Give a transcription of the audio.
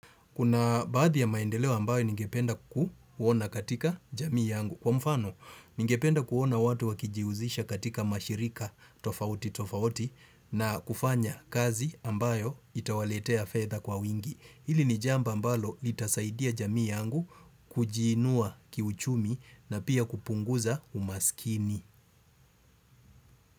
Kuna baadhi ya maendeleo ambayo ningependa kuona katika jamii yangu. Kwa mfano, ningependa kuona watu wakijihusisha katika mashirika tofauti tofauti na kufanya kazi ambayo itawaletea fedha kwa wingi. Hili ni jambo ambalo litasaidia jamii yangu kujiinua kiuchumi na pia kupunguza umaskini.